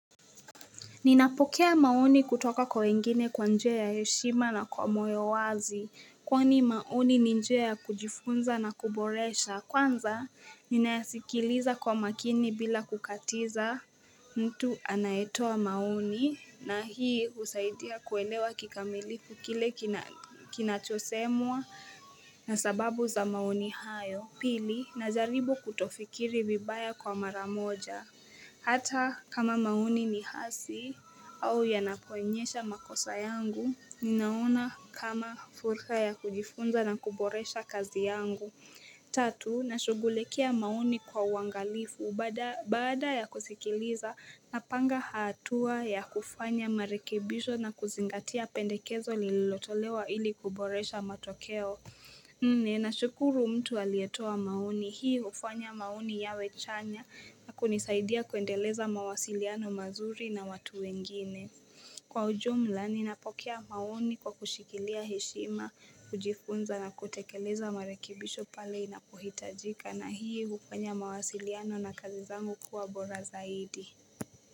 Ninapokea maoni kutoka kwa wengine kwa njoe ya yeshima na kwa moyo wazi. Kwani maoni ni njoe ya kujifunza na kuboresha. Kwanza, ninayasikiliza kwa makini bila kukatiza. Mtu anaetoa mauni na hii usaidia kuelewa kikamilifu kile kinachosemwa na sababu za mauni hayo. Pili, nazaribu kutofikiri bibaya kwa maramoja. Hata kama mauni ni hasi au yanapoenyesha makosa yangu, ninaona kama furika ya kujifunza na kuboresha kazi yangu. Tatu, nashugulekia mauni kwa wangalifu bada ya kusikiliza na panga hatua ya kufanya marikibisho na kuzingatia pendekezo lililotolewa ili kuboresha matokeo. Ne na shukuru mtu alietoa mauni hii ufanya maoni yawe chanya na kunisaidia kuendeleza mawasiliano mazuri na watu wengine Kwa ujomla ni napokea mauni kwa kushikilia heshima, kujifunza na kutekeleza marekibisho pale inapuhitajika na hii kupenye mawasiliano na kazizangu kuwa bora zaidi.